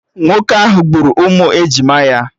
Nwoke ahụ gburu ụmụ ejima ya